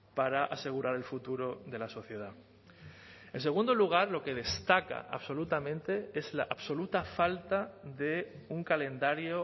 para asegurar el futuro de la sociedad en segundo lugar lo que destaca absolutamente es la absoluta falta de un calendario